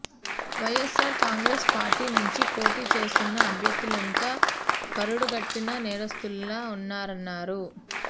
YSR Congress party నుంచి పోటీ చేస్తున్న అభ్యర్ధులంతా కరడుగట్టిన నేరస్థుల్లా ఉన్నారన్నారు